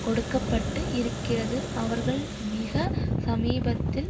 கொடுக்க பட்டு இருக்கிறது அவர்கள் மிக சமீபத்தில்